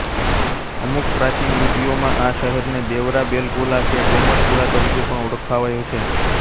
અમુક પ્રાચીન લિપીઓમાં આ શહેરને દેવરા બેલગોલા કે ગોમટપુરા તરીકે પણ ઓળખાવાયો છે